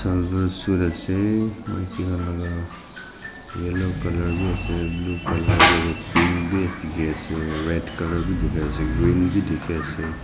maki khan laka yellow colour biase blue colour biase pink bi dikhiase red colour bi dikhiase green bi dikhiase.